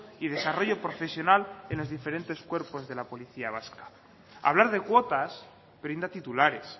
y desarrollo profesional en los diferentes cuerpos de la policía vasca hablar de cuotas brinda titulares